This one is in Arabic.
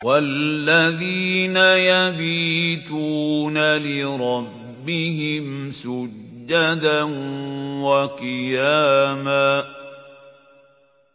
وَالَّذِينَ يَبِيتُونَ لِرَبِّهِمْ سُجَّدًا وَقِيَامًا